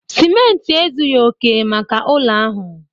Simenti ezughi oke maka ụlọ ahụ